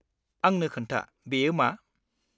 आंनो खोन्था बेयो मा?